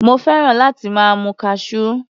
Mo fẹ́ràn láti máa mu Cashew.